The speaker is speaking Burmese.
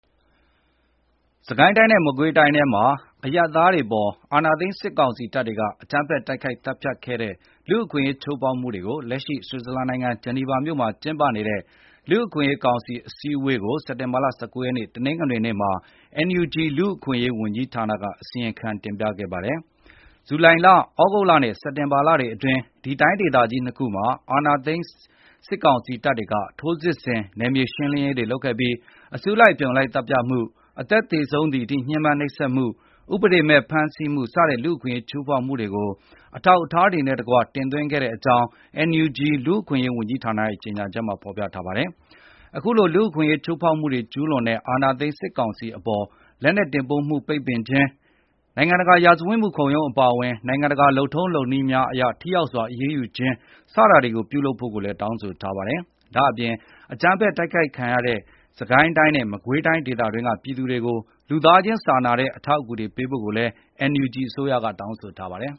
စစ်ကိုင်းတိုင်းနဲ့ မကွေးတိုင်းတွေထဲမှာ အရပ်သားတွေအပေါ် အာဏာသိမ်း စစ်ကောင်စီတပ်တွေက အကြမ်းဖက်တိုက်ခိုက် သတ်ဖြတ်ခဲ့တဲ့ လူ့အခွင့်အရေး ချိုးဖောက်မှုတွေကို လက်ရှိ ဆွစ်ဇာလန်နိုင်ငံ ဂျီနီဗာမြို့မှာ ကျင်းပနေတဲ့ လူ့အခွင့်အရေးကောင်စီမှာ စက်တင်ဘာလ ၁၉ ရက်နေ့ တနင်္ဂနွေနေ့က NUG လူ့အခွင့်အရေးဝန်ကြီးဌာနက တင်သွင်းခဲ့ပါတယ်။ ဇူလိုင်လ၊ သြဂုတ်လနဲ့ စက်တင်ဘာလတွေအတွင်း ဒီတိုင်းဒေသကြီး ၂ ခုမှာ အာဏာသိမ်း စစ်ကောင်စီတပ်တွေက ထိုးစစ်ဆင် နယ်မြေရှင်းရေးတွေ လုပ်ခဲ့ပြီး အစုလိုက် အပြုံလိုက် သတ်ဖြတ်မှု၊ အသက်သေဆုံးသည်အထိ ညှဉ်းပန်းနှိပ်စက်မှု၊ ဥပဒေမဲ့ ဖမ်းဆီးမှု စတဲ့ လူ့အခွင့်အရေး ချိုးဖောက်မှုတွေကို အထောက်အထားများနဲ့တကွ တင်သွင်းခဲ့ကြောင်း NUG လူ့အခွင့်အရေးဝန်ကြီးဌာနရဲ့ ကြေညာချက်မှာ ဖော်ပြထားပါတယ်။ အခုလို လူ့အခွင့်အရေး ချိုးဖောက်မှုတွေ ကျူးလွန်တဲ့ အာဏာသိမ်း စစ်ကောင်စီအပေါ် လက်နက်တင်ပို့မှု ပိတ်ပင်ခြင်း၊ နိုင်ငံတကာ ရာဇဝတ်မှုခုံရုံး အပါအဝင် နိုင်ငံတကာ လုပ်ထုံးလုပ်နည်းများအရ ထိရောက်စွာ အရေးယူခြင်းတွေ ပြုလုပ်ဖို့ကိုလည်း တောင်းဆိုထားပါတယ်။ ဒါ့အပြင် အကြမ်းဖက်တိုက်ခိုက်ခံရတဲ့ စစ်ကိုင်းတိုင်းနဲ့ မကွေးတိုင်း ဒေသအတွင်းက ပြည်သူတွေကို လူသားခြင်းစာနာတဲ့ အထောက်အကူများ ပေးဖို့ကိုလည်း NUG အစိုးရက တောင်းဆိုထားပါတယ်